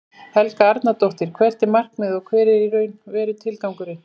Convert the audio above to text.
Helga Arnardóttir: Hvert er markmiðið og hver er í raun og veru tilgangurinn?